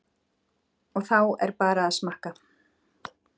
Og þá er bara að smakka?